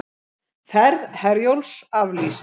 Ferð Herjólfs aflýst